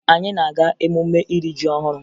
Anyị na-aga emume iri ji ọhụrụ